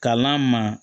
Kalan ma